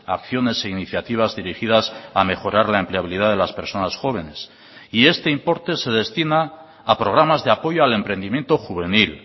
acciones e iniciativas dirigidas a mejorar la empleabilidad de las personas jóvenes y este importe se destina a programas de apoyo al emprendimiento juvenil